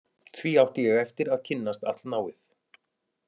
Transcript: Því átti ég eftir að kynnast allnáið